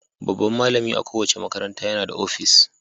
Babban malami a kowace makaranta yana da opis.